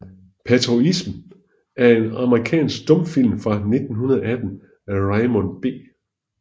Patriotism er en amerikansk stumfilm fra 1918 af Raymond B